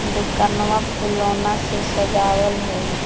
दोकनवा फूलौना से सजावल हई।